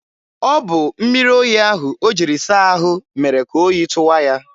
ọ bụ mmiri oyi ahụ o jiri saa ahụ mere ka oyi tụwa ya.